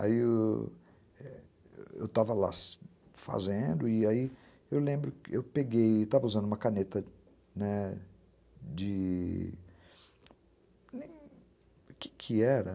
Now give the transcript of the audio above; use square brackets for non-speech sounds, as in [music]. Aí eu estava lá [unintelligible] fazendo e aí eu lembro que eu peguei, estava usando uma caneta de... O que que era?